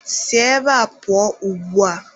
Si ebe a pụọ ugbua!.